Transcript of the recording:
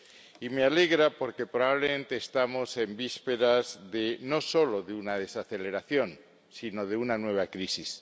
Y me alegra, porque probablemente estamos en vísperas no solo de una desaceleración, sino de una nueva crisis.